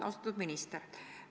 Austatud minister!